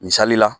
Misali la